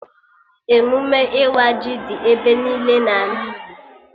Emụme ịwa ji dị ebe niile n'ala Igbo